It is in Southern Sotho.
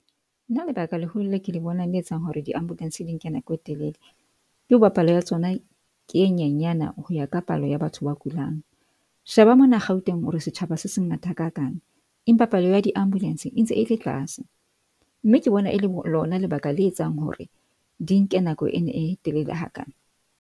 Nna lebaka leholo le ke le bonang le etsang hore di-ambulance di nke nako e telele. Ke hoba palo ya tsona ke e nyanyana ho ya ka palo ya batho ba kulang. Sheba mona Gauteng hore setjhaba se se ngata ha kakang. Empa palo ya di-ambulance e ntse e le tlase. Mme ke bona e le lona lebaka le etsang hore di nke nako ena e telele hakana.